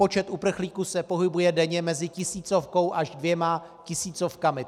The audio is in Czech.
Počet uprchlíků se pohybuje denně mezi tisícovkou až dvěma tisícovkami.